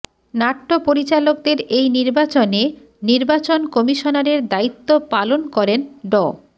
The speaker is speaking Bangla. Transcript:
নাট্যপরিচালকদের এই নির্বাচনে নির্বাচন কমিশনারের দায়িত্ব পালন করেন ড